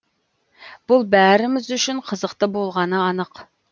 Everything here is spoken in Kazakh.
бұл бәріміз үшін қызықты болғаны анық